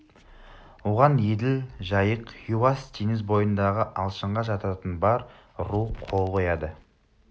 оған еділ жайық хиуас теңіз бойындағы алшынға жататын бар ру қол қояды